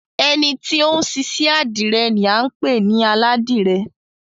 Ẹni ti ó ń ṣiṣẹ́ àdìrẹ ni à ń pè ní Aládìrẹ.